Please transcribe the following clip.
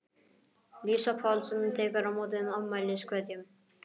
Lísa Páls tekur á móti afmæliskveðjum.